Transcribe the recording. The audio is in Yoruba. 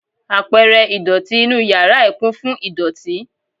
Apẹ̀rẹ̀ ìdọ̀tí inúu yàrá ẹ̀ kún fún idoti.